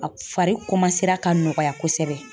Fari ka nɔgɔya kosɛbɛ.